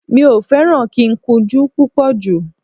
Mi ò fẹ́ràn kíkúnjú púpọ̀ jù